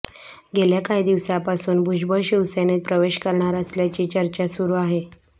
गेल्या काही दिवसांपासून भुजबळ शिवसेनेत प्रवेश करणार असल्याची चर्चा सुरू आहे